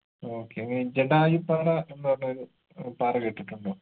okay ഏർ ജഡായുപ്പാറ എന്ന് പറഞ്ഞൊരു ഏർ പാറ കേട്ടിട്ടുണ്ടോ